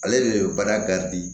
Ale de bɛ baara